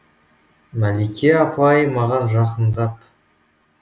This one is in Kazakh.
мәлике апай маған жақыңдап